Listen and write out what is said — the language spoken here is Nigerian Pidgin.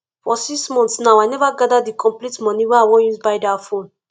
for six months now i never gather the complete money wey i was use buy dat phone